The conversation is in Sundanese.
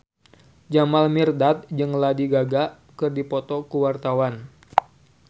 Jamal Mirdad jeung Lady Gaga keur dipoto ku wartawan